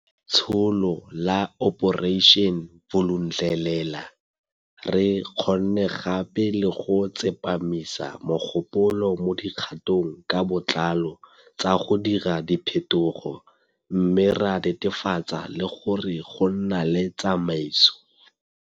Ka letsholo la Operation Vulindlela, re kgonne gape le go tsepamisa mogopolo mo dikgatong ka botlalo tsa go dira diphetogo, mme ra netefatsa le gore go nna le tsamaiso